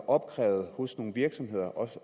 opkrævet hos nogle virksomheder og